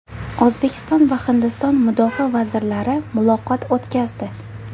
O‘zbekiston va Hindiston mudofaa vazirlari muloqot o‘tkazdi.